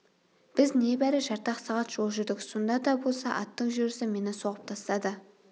біз небәрі жарты-ақ сағат жол жүрдік сонда да болса аттың жүрісі мені соғып тастады